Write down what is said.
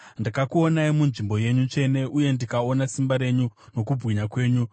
Ndakakuonai munzvimbo yenyu tsvene, uye ndikaona simba renyu nokubwinya kwenyu.